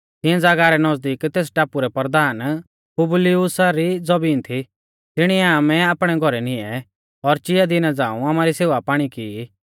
तिऐं ज़ागाह रै नज़दीक तेस टापु रै परधान पुबलियुसा री ज़बीन थी तिणीऐ आमै आपणै घौरै निऐं और चिया दिना झ़ांऊ आमारी सेवापाणी की ई